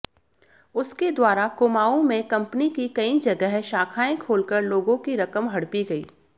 उसके द्वारा कुमाऊं में कंपनी की कई जगह शाखाएं खोलकर लोगों की रकम हड़पी गई